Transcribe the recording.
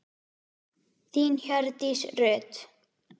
Þín Hjördís Rut.